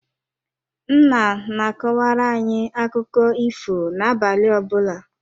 Nna na-akọwara anyị akụkụ ifo na-abalị ọbụla.